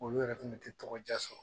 Olu yɛrɛ fɛnɛ tɛ tɔgɔdiya sɔrɔ